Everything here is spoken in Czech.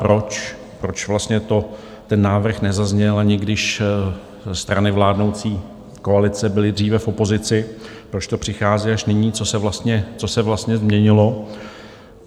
Proč vlastně ten návrh nezazněl, ani když strany vládnoucí koalice byly dříve v opozici, proč to přichází až nyní, co se vlastně změnilo?